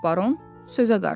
Baron sözə qarışdı.